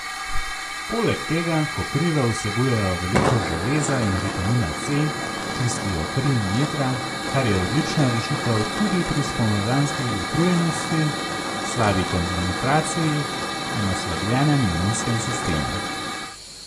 Poleg tega koprive vsebujejo veliko železa in vitamina C, čistijo kri in jetra, kar je odlična rešitev tudi pri spomladanski utrujenosti, slabi koncentraciji in oslabljenemu imunskemu sistemu.